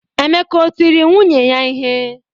Emeka o tiri nwunye ya ihe?